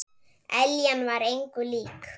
Eljan var engu lík.